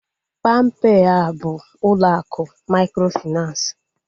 Palm pay a bụ ụlọ akụ mikrofinansi?